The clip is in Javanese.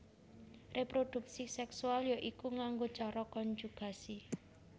Réprodhuksi séksual ya iku nganggo cara konjugasi